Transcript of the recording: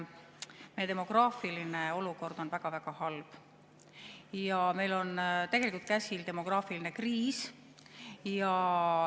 Meie demograafiline olukord on väga-väga halb ja meil on käsil demograafiline kriis.